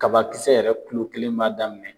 Kabakisɛ yɛrɛ kulo kelen m'a daminɛ